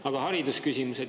Aga haridusküsimused?